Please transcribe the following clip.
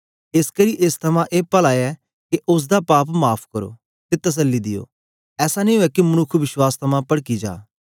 एसकरी एस थमां ए पला ऐ के ओसदा पाप माफ़ करो ते तसल्ली दियो ऐसा नेई उवै के मनुक्ख विश्वास थमां पडकी जा